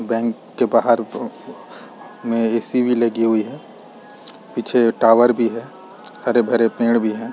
Bank के बाहर में एस.सी. भी लगी हुई है पीछे टॉवर भी है हरे-भरे पेड़ भी हैं ।